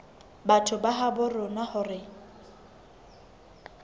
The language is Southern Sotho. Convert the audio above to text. batho ba habo rona hore